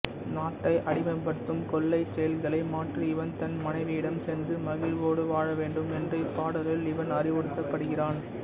நாட்டை அடிமைப்படுத்தும் கொள்ளைச் செயல்களை மாற்றி இவன் தன் மனைவியிடம் சென்று மகிழ்வோடு வாழவேண்டும் என்று இப்பாடலில் இவன் அறிவுறுத்தப்படுகிறான்